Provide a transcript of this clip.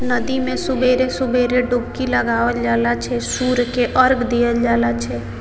नदी में सुवेरे-सुवेरे डुबकी लगावल जाला छै सूर्य के अर्ग देल जाला छै।